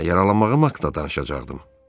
Hə, yaralanmağım haqqında danışacaqdım.